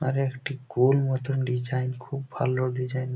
আর একটি গোল মত ডিজাইন খুব ভালো ডিজাইন ।